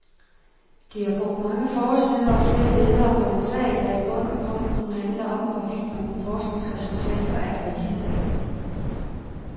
De har brugt mange forsider og flere ledere på en sag, der i bund og grund kun handler om, hvorvidt nogle forskningsresultater er valide.